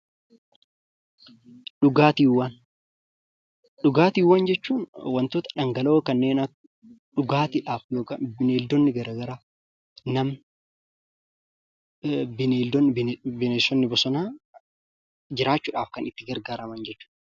Dhugaatiiwwan jechuun kanneen dhangala'oo ta'anii kanneen akka: nama, beeylada fi bineensonni bosonaa garaa garaan kan itti fayyadaman jechuudha.